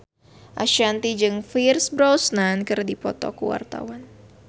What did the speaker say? Ashanti jeung Pierce Brosnan keur dipoto ku wartawan